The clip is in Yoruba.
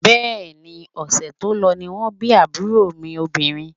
Bẹ́ẹ̀ni, ọ̀sẹ̀ tó lọ ni wọ́n bí àbúrò mi obìnrin